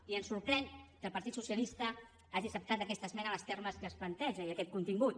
i ens sorprèn que el partit socialista hagi acceptat aquesta esmena en els termes en què es planteja i aquest contingut